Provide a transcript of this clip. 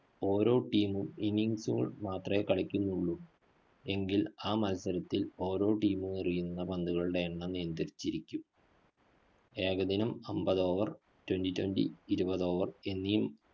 ഓരോ team ഉം innings കള്‍ മാത്രമേ കളിക്കുന്നുള്ളൂ, എങ്കില്‍ ആ മത്സരത്തില്‍ ഓരോ team മും എറിയുന്ന പന്തുകളുടെ എണ്ണം നിയന്ത്രിച്ചിരിക്കും. ഏകദിനം അമ്പത് over. twenty twenty ഇരുപത് over എന്നീ